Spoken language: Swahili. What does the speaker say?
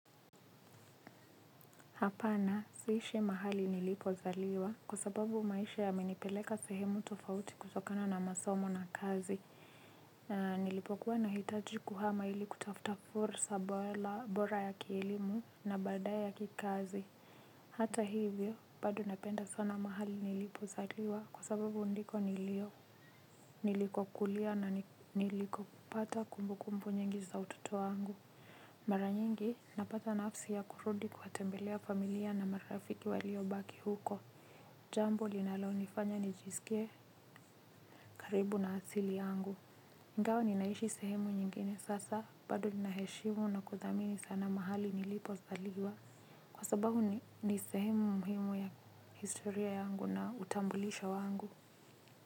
Hapana siishi mahali nilipozaliwa kwa sababu maisha yamenipeleka sehemu tofauti kutokana na masomo na kazi. Na nilipokuwa na hitaji kuhama ili kutafuta fursa bora ya kielimu na badae ya kikazi. Hata hivyo pado napenda sana mahali nilipozaliwa kwa sababu ndiko nilio niliko kulia na niliko kupata kumbukumbu nyingi za utoto angu. Maranyengi napata nafsi ya kurudi kwatembelea familia na marafiki walio baki huko. Jambo linalonifanya nijisikie karibu na asili yangu ingao ninaishi sehemu nyingine sasa bado ninaheshimu na kuthamini sana mahali nilipo zaliwa. Kwa sabahu ni sehemu muhimu ya historia yangu na utambulisho wangu.